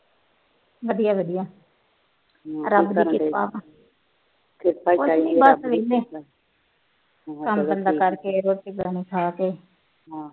ਕੰਮ ਧੰਦਾ ਕਰਕੇ ਰੋਟੀ ਪਾਣੀ ਖਾ ਕੇ